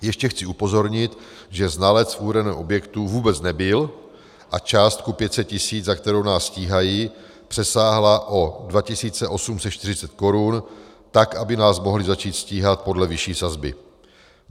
Ještě chci upozornit, že znalec v uvedeném objektu vůbec nebyl a částka 500 tisíc, za kterou nás stíhají, přesáhla o 2 840 korun, tak aby nás mohli začít stíhat podle vyšší sazby.